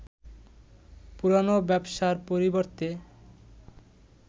পুরানো ব্যবসার পরিবর্তে